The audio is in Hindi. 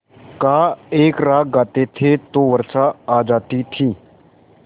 का एक राग गाते थे तो वर्षा आ जाती थी